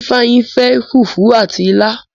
Ifeanyi fẹ fufu àti ila